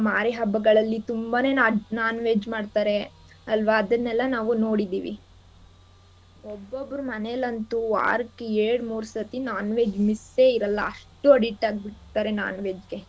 ಮಾರಿ ಹಬ್ಬಗಳಲ್ಲಿ ತುಂಬಾನೇ non~ non-veg ಮಾಡ್ತಾರೆ ಅಲ್ವಾ ಅದನ್ನೆಲ್ಲ ನಾವು ನೋಡಿದಿವಿ ಒಬ್ಬಬ್ರ್ ಮನೇಲಂತೂ ವಾರಕ್ಕೆ ಎರ್ಡ್ ಮೂರ್ ಸತಿ non-veg miss ಎ ಇರಲ್ಲ ಅಷ್ಟು addict ಆಗ್ಬಿಟಿರ್ತಾರೆ non-veg ಗೆ.